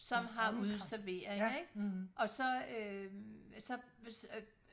som har udeservering ikke og så øh så så